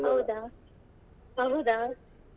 ಹೌದಾ ಅಹುದಾ.